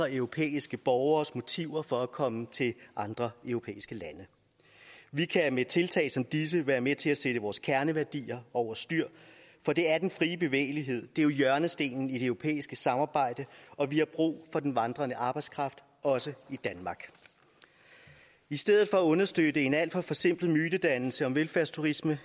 europæiske borgeres motiver for at komme til andre europæiske lande vi kan med tiltag som disse være med til at sætte vores kerneværdier over styr for det er den frie bevægelighed er hjørnestenen i det europæiske samarbejde og vi har brug for den vandrende arbejdskraft også i danmark i stedet for at understøtte en alt for forsimplet mytedannelse om velfærdsturisme